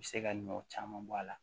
U bɛ se ka ɲɔ caman bɔ a la